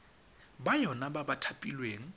ba yona ba ba thapilweng